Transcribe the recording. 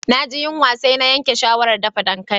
Na ji yunwa sai na yanke shawaran dafa dankali.